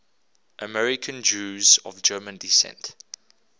american jews of german descent